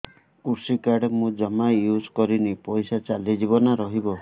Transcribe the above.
କୃଷି କାର୍ଡ ମୁଁ ଜମା ୟୁଜ଼ କରିନି ପଇସା ଚାଲିଯିବ ନା ରହିବ